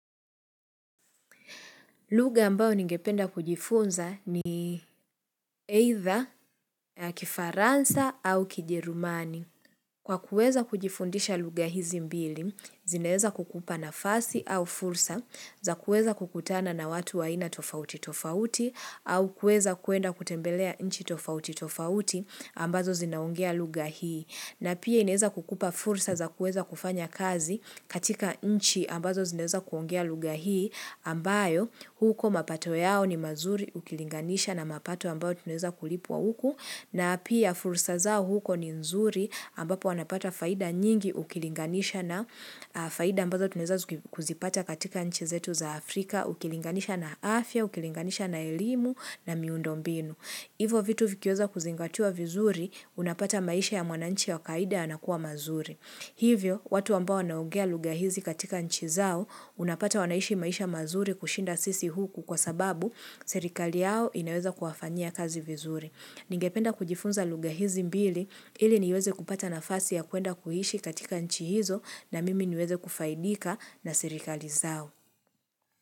Lugha ambayo ningependa kujifunza ni either ya kifaransa au kijerumani. Kwa kuweza kujifundisha lugha hizi mbili, zinaeza kukupa nafasi au fursa za kuweza kukutana na watu wa aina tofauti tofauti au kuweza kuenda kutembelea nchi tofauti tofauti ambazo zinaongea lugha hii. Na pia inaeza kukupa fursa za kuweza kufanya kazi katika nchi ambazo zinaeza kuongea lugha hii ambayo huko mapato yao ni mazuri ukilinganisha na mapato ambayo tunaeza kulipwa huku na pia fursa zao huko ni nzuri ambapo wanapata faida nyingi ukilinganisha na faida ambazo tunaeza kuzipata katika nchi zetu za Afrika ukilinganisha na afya, ukilinganisha na elimu na miundombinu. Hivo vitu vikiweza kuzingatiwa vizuri, unapata maisha ya mwananchi wa kawaida yanakuwa mazuri. Hivyo, watu ambao wanaongea lugha hizi katika nchi zao, unapata wanaishi maisha mazuri kushinda sisi huku kwa sababu serikali yao inaweza kuwafanyia kazi vizuri. Ningependa kujifunza lugha hizi mbili, ili niweze kupata nafasi ya kuenda kuishi katika nchi hizo na mimi niweze kufaidika na serikali zao.